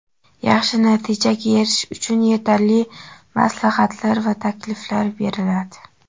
yaxshi natijaga erishish uchun yetarli maslahatlar va takliflar beriladi.